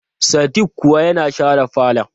Sadik kuwa yana share falon.